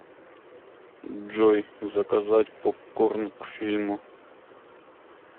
джой заказать попкорн к фильму